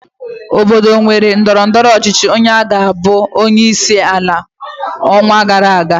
Obodo mere ndọrọndọrọ ọchịchị onye ga-abụ onyeisi ala n'ọnwa gara aga